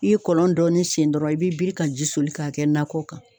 I ye kɔlɔn dɔɔnin seni dɔɔnn , i bɛ bii ka ji soli k'a kɛ nakɔ kan.